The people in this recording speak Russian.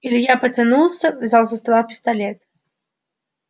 илья потянулся взял со стола пистолет